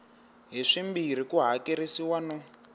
hi swimbirhi ku hakerisiwa no